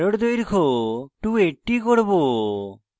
আমি arrow দৈর্ঘ্য 280 করব